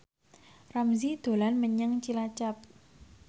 Ramzy dolan menyang Cilacap